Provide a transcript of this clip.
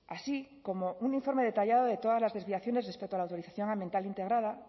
así como un informe detallado de todas las desviaciones respecto a la autorización ambiental integrada